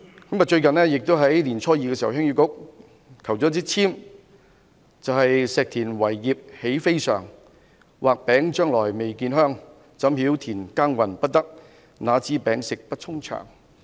鄉議局在年初二求籤，籤文是"石田為業喜非常，畫餅將來未見香；怎曉田耕耘不得，那知餅食不充腸。